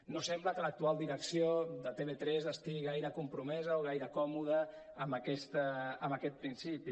no sembla que l’actual direcció de tv3 estigui gaire compromesa o gaire còmoda amb aquest principi